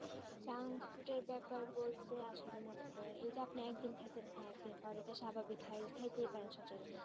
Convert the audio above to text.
junk food এর ব্যাপারে আসলে মনে করেন এটা আপনি একদিন খেছেন হা একদিন খাবার এটা স্বাভাবিক খাতেই পারেন সচলাচল